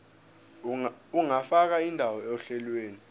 ungafaka indawo ohlelweni